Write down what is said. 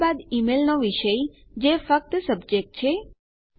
ત્યારબાદ ઈમેલનો વિષય જે ફક્ત સબ્જેક્ટ છે